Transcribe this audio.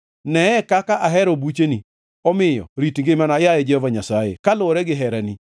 Neye kaka ahero bucheni; omiyo rit ngimana, yaye Jehova Nyasaye, kaluwore gi herani.